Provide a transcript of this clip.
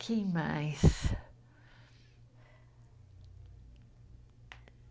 Quem mais?